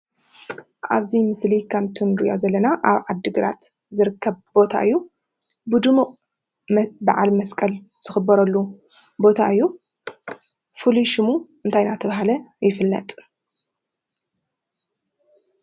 ኣብ እዚ ምስሊ ከምቲ ንርኦ ዘለና ዓዲ ግራት ዝርከብ ቦታ እዩ። ብዱሙቅ ባዓል መስቀል ዝኽበረሉ ቦታ እዩ ።ፍሉይ ሽሙ እንታይ እዳተበሃለ ይፍለጥ ?